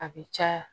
A bɛ caya